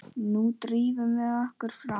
Nú drífum við okkur fram!